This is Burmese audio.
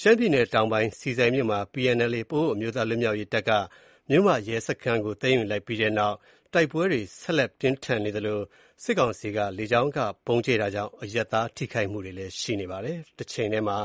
ရှမ်းပြည်နယ်တောင်ပိုင်း ဆီဆိုင်မြို့မှာ PNLA ပအိုဝ်းအမျိုးသားလွတ်မြောက်ရေးတပ်က မြို့မရဲစခန်းကို သိမ်းယူလိုက်ပြီးနောက် တိုက်ပွဲတွေ ဆက်လက်ပြင်းထန်နေသလို စစ်ကောင်စီက လေကြောင်းက ဗုံးကြဲတာကြောင့် အရပ်သားထိခိုက်မှုတွေ ရှိနေပါတယ်။ တချိန်တည်းမှာ